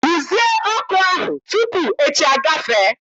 Rụzie ọkụ ahụ tupu echi agafee!